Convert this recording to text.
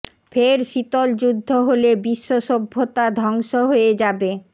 ফের শীতল যুদ্ধ হলে বিশ্ব সভ্যতা ধ্বংস হয়ে যাবে